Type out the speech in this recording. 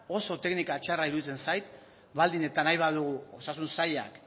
oso teknika txarra iruditzen zait baldin eta nahi badugu osasun sailak